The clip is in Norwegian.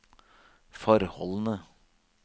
forholdene